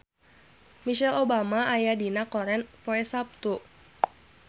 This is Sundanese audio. Michelle Obama aya dina koran poe Saptu